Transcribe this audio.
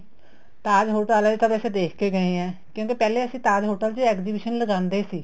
Taj hotel ਵਾਲੇ ਤਾਂ ਦੇਖ ਕੇ ਗਏ ਹੈ ਕਹਿੰਦੇ ਪਹਿਲੇ ਅਸੀਂ ਤਾਜ hotel ਚ exhibition ਲਗਾਂਦੇ ਸੀ